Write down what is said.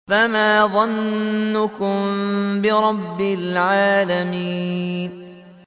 فَمَا ظَنُّكُم بِرَبِّ الْعَالَمِينَ